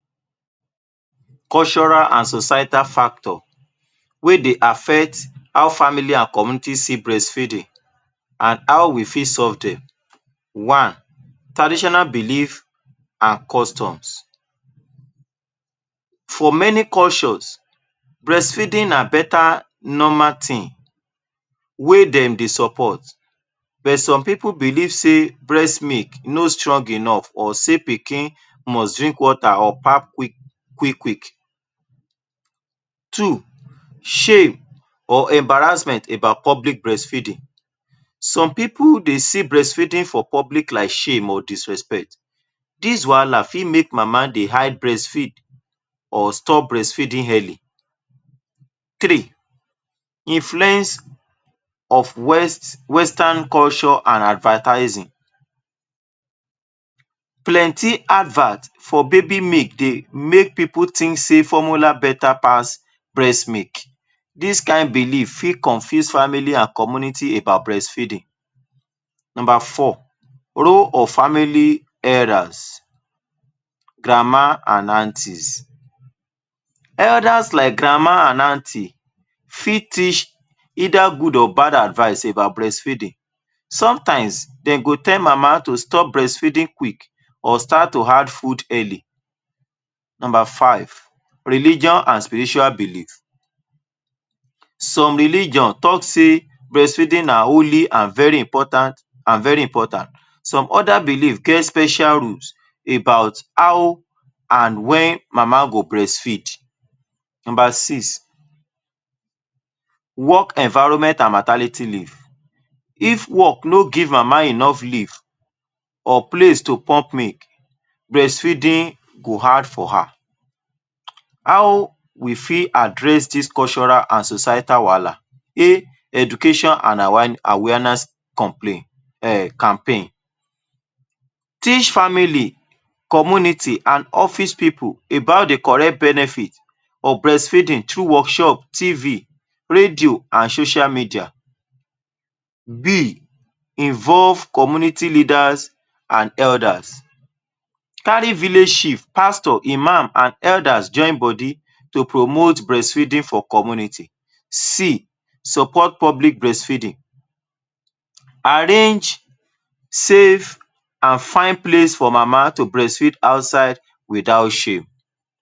Cultural and societal factor wey dey affect how family and community see breastfeeding and how we fit solve dem. One: traditional belief and customs, for many cultures breast feeding na beta normal tin wey dem dey support but some pipul belief sey breast milk no srong enough or sey pikin must drink water or pap quick-quick. Two: shame or embarrassment about public breastfeeding, some pipul dey see breastfeeding for public like shame or disrespect, dis wahala fit make mama dey hide breastfeeding or stop breast feeding early. Three: influence of western culture and advertising, plenty advert for baby milk dey make pipul tink sey formular beta pass breast milk, dis kind belief fit confuse family and community about breastfeeding. Number four: role of family elders, grandma and anties, elders like grandma and anty fit teach either good or bad advice about breasft feeding, some times dem go tell mama to stop breastfeeding quick, or start to add food early. Number five: religious and spiritual belief, some religion talk sey breastfeeding na only and very important, very important, some other belief get special rule about how and wen mama go breastfeed. Number six: work environment and maternity leave, if work no give mama enough leave and place to pump milk, breastfeeding go hard for her. How we fit address dis cultural and societal wahala? A: education and awareness complain- campaign, teach family, community and office pipul about the correct benefit or breast feeding through workshop, TV radio and social media. B: involve community leaders and elders, kari village chief pastor, imam and elder join body to promote breastfeeding for community. C: support public breastfeeding, arrange safe and fine place for mama to breast feed outside without shem.